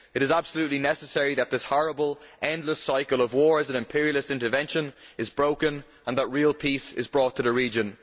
It is absolutely necessary that this horrible, endless cycle of wars and imperialist intervention is broken, and that real peace is brought to the region.